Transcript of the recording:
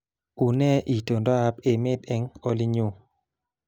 Unee itondoab emet eng olinyu